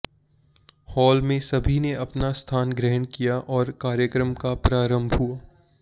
hall में सभी ने अपना स्थान ग्रहण किया और कार्यक्रम का प्रारम्भ हुआ